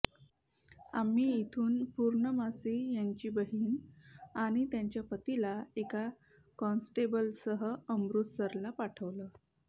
आम्ही इथून पूर्णमासी यांची बहीण आणि त्यांच्या पतीला एका कॉन्स्टेबलसह अमृतसरला पाठवलं